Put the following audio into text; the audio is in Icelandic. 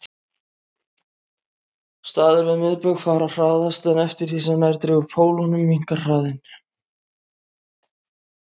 Staðir við miðbaug fara hraðast en eftir því sem nær dregur pólunum minnkar hraðinn.